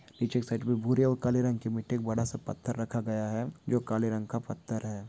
पीछे साइड में बुरे और काले रंग की बड़ा सा पत्थर रखा गया है जो काले रंग का पत्थर है।